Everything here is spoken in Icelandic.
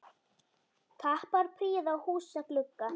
Kappar prýða húsa glugga.